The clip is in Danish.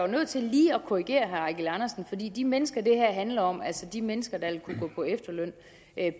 nødt til lige at korrigere herre eigil andersen fordi de mennesker det her handler om altså de mennesker der vil kunne gå på efterløn